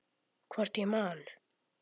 Hvort ég man.